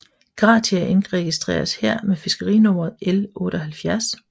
Gratia indregistreres her med fiskerinummeret L 78